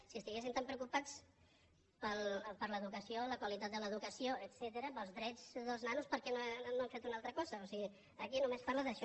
si estiguessin tan preocupats per l’educació la qualitat de l’educació etcètera pels drets dels nanos per què no han fet una altra cosa o sigui aquí només parla d’això